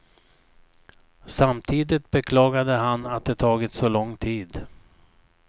Samtidigt beklagade han att det tagit så lång tid.